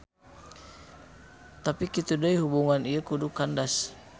Tapi kitu deui hubungan ieu kudu kandas.